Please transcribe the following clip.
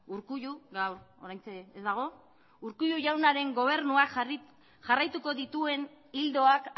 urkullu ogaur oraintxe ez dagog jaunaren gobernuak jarraituko dituen ildoak